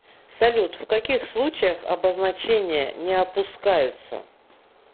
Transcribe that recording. салют в каких случаях обозначения не опускаются